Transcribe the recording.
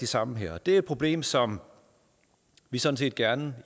sammen her og det er et problem som vi sådan set gerne